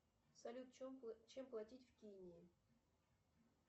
салют чем платить в кении